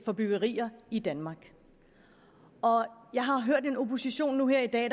for byggerier i danmark jeg har hørt en opposition nu her i dag